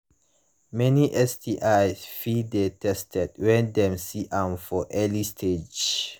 many stis fit de treated when dem see am for early stage